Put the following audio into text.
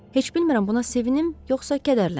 Heç bilmirəm buna sevinim yoxsa kədərlənim.